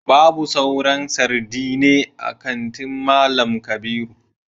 babu sauran sardine a kantin mallam kabiru